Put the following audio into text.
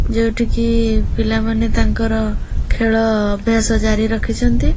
ଯେଉଁଠି କି ଇ ପିଲାମାନେ ତାଙ୍କର ଖେଳ ଅ ଅଭ୍ୟାସ ଜାରି ରଖିଛନ୍ତି।